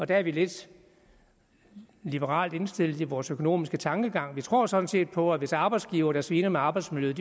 der er vi lidt liberalt indstillede i vores økonomiske tankegang vi tror sådan set på at hvis arbejdsgivere der sviner med arbejdsmiljøet